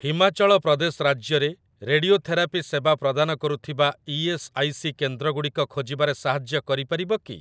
ହିମାଚଳ ପ୍ରଦେଶ ରାଜ୍ୟରେ ରେଡିଓଥେରାପି ସେବା ପ୍ରଦାନ କରୁଥିବା ଇ.ଏସ୍. ଆଇ. ସି. କେନ୍ଦ୍ରଗୁଡ଼ିକ ଖୋଜିବାରେ ସାହାଯ୍ୟ କରିପାରିବ କି?